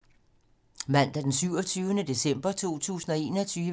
Mandag d. 27. december 2021